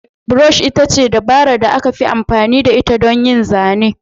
Brush ita ce dabarar da aka fi amfani da ita don yin zane.